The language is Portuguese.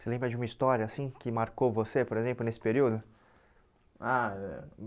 Você lembra de uma história assim que marcou você, por exemplo, nesse período? Ah eh